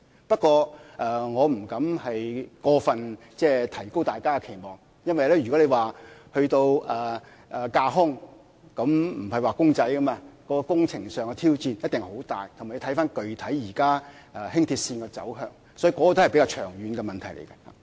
不過，我不敢過分提高大家的期望，因為如果談到興建架空軌道，不是"畫公仔"般輕易，工程上的挑戰一定很大，亦要視乎現時輕鐵具體的走向，所以這個仍然是比較長遠的問題。